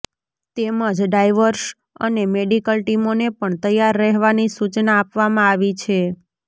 તેમજ ડાઇવર્સ અને મેડિકલ ટીમોને પણ તૈયાર રહેવાની સૂચના આપવામાં આવી છે